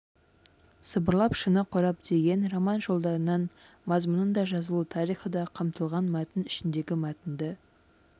сыбырлап шыны қорап деген роман жолдарынан мазмұнында жазылу тарихы да қамтылған мәтін ішіндегі мәтінді